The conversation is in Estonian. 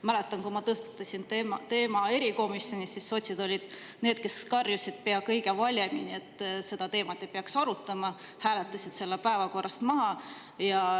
Mäletan, kui ma tõstatasin selle teema erikomisjonis, siis sotsid olid need, kes karjusid pea kõige valjemini, et seda teemat ei peaks arutama, ja hääletasid selle päevakorrast maha.